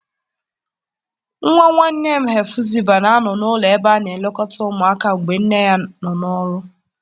Nwa nwanne m Hefụziba na-anọ n'ụlọ ebe a na-elekọta ụmụaka mgbe nne ya nọ n'ọrụ.